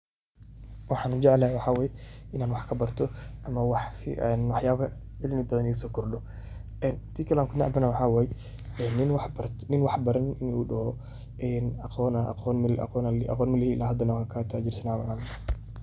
Waxan ujeclahay waxa waye in an wax kabarto ama waxyaba cimli badan igasokordho tan kale an kunecbahay waxa waye in nin wax baranin in uu doho aqon malihi ila hadana wan katajirsanahay.